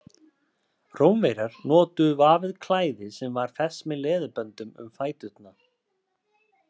Rómverjar notuðu vafið klæði sem var fest með leðurböndum um fæturna.